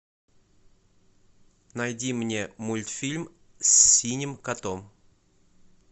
найди мне мультфильм с синим котом